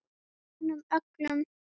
Hún finnur fyrir honum öllum.